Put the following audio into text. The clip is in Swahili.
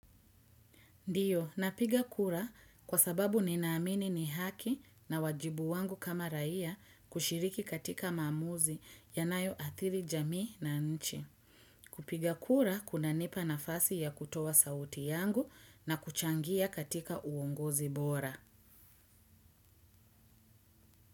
Ndiyo, napiga kura kwa sababu ninaamini ni haki na wajibu wangu kama raia kushiriki katika maamuzi yanayoathiri jamii na nchi. Kupiga kura, kunanipa nafasi ya kutoa sauti yangu na kuchangia katika uongozi bora.